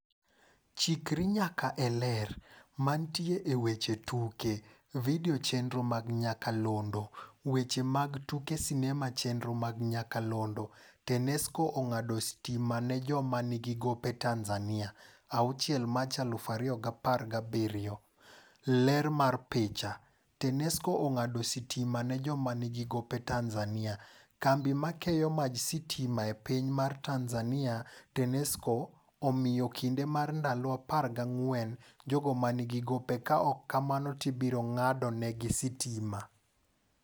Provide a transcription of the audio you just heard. Chikri nyaka e Ler. Mantie e weche tuke. Video chenro mag nyakalondo. Weche mag tuke sinema chenro mag nyakalondo. Tanesco ong'ado sitima ne joma nigi gope Tanzania. 9 Machi 2017 Ler mar picha. Tanesco ong'ado sitima ne joma nigi gope Tanzania. Kambi makeyo maj sitima e piny mar Tanzania (Tanesco) omiyo kinde mar ndalo 14 jogo manigi gopeka ok kamano to ibiro ng'ado negi sitima.